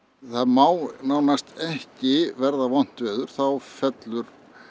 það má nánast ekki verða vont veður þá fellur